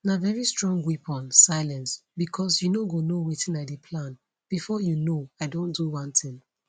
na very strong weapon silence becos you no go know wetin i dey plan bifor you know i don do one tin